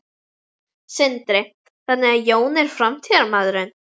Sindri: Þannig að Jón er framtíðarmaðurinn?